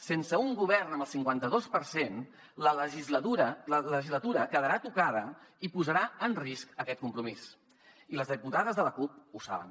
sense un govern amb el cinquanta dos per cent la legislatura quedarà tocada i posarà en risc aquest compromís i les diputades de la cup ho saben